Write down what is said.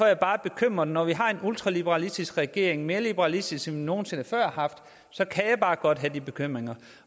jeg bare bekymret når vi har en ultraliberalistisk regering mere liberalistisk end vi nogen sinde før har haft så kan jeg bare godt have de bekymringer